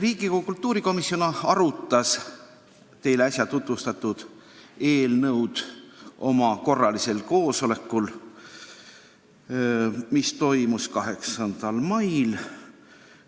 Riigikogu kultuurikomisjon arutas teile äsja tutvustatud eelnõu oma korralisel koosolekul, mis toimus 8. mail.